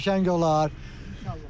Qəşəng olar.